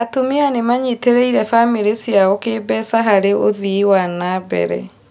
Atumia nĩmanyitĩrĩie bamĩri ciao kĩmbeca harĩ ũthii wa nambere